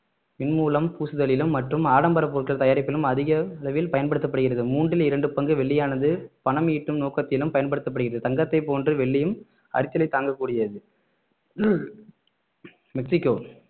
மின் மூலம் பூசுதலிலும் மற்றும் ஆடம்பர பொருட்கள் தயாரிப்பிலும் அதிக அளவில் பயன்படுத்தப்படுகிறது மூன்றில் இரண்டு பங்கு வெள்ளியானது பணம் ஈட்டும் நோக்கத்திலும் பயன்படுத்தப்படுகிறது தங்கத்தை போன்று வெள்ளியும் அரித்தலை தாங்கக்கூடியது மெக்சிகோ